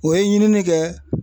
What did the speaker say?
O ye ɲinini kɛ